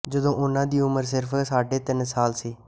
ਜਦੋਂ ਉਨ੍ਹਾਂ ਦੀ ਉਮਰ ਸਿਰਫ ਸਾਢੇ ਤਿੰਨ ਸਾਲ ਸੀ